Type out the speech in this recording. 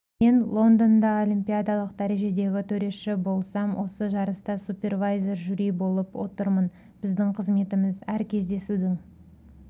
мен лондонда олимпиадалық дәрежедегі төреші болсам осы жарыста супервайзер жюри болып отырмын біздің қызметіміз әр кездесудің